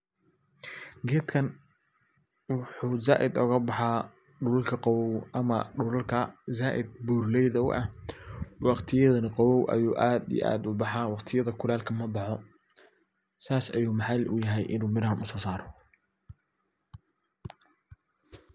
Geedkan waxuu zaiidka oga baxa dhulka qabow ama dhulalka zaiid buuralayda u ah waqtiyada qabow ayu aad iyo aad u baxaa waqtiyada kuleelka mabaxo sas ayu maxaal u yahay inu mirahan kusosaaro.